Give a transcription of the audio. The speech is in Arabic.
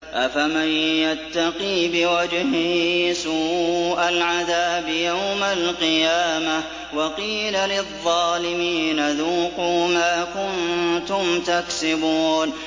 أَفَمَن يَتَّقِي بِوَجْهِهِ سُوءَ الْعَذَابِ يَوْمَ الْقِيَامَةِ ۚ وَقِيلَ لِلظَّالِمِينَ ذُوقُوا مَا كُنتُمْ تَكْسِبُونَ